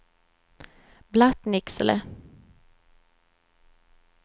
Blattnicksele